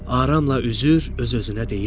Aramla üzür, öz-özünə deyirdi: